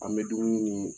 An bɛ dumuni ni